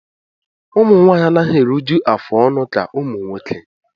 Ụmụnwaanyị anaghị eruju afụ ọnụ ka ụmụ nwoke